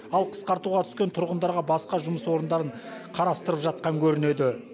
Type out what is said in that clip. ал қысқартуға түскен тұрғындарға басқа жұмыс орындарын қарастырып жатқан көрінеді